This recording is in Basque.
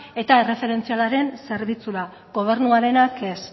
eta erreferentzialaren zerbitzura gobernuarenak ez